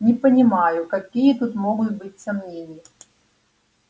не понимаю какие тут могут быть сомнения